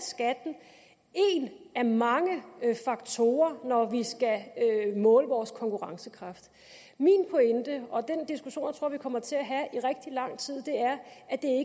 skatten én af mange faktorer når vi skal måle vores konkurrencekraft min pointe og den diskussion tror jeg vi kommer til at have